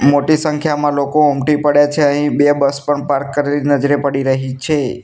મોટી સંખ્યામાં લોકો ઉમટી પડ્યા છે અહીં બે બસ પણ પાર્ક કરેલી નજરે પડી રહી છે.